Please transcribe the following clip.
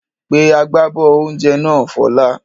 Pe agbábọ́ oúnjẹ náà Fọlá!